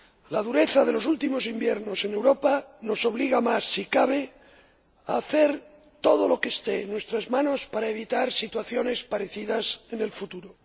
La dureza de los últimos inviernos en Europa nos obliga más, si cabe, a hacer todo lo que esté en nuestras manos para evitar situaciones parecidas en el futuro.